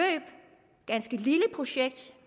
ganske lille projekt